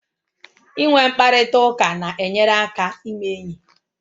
Inwe mkparịta ụka na-enyere aka ime enyi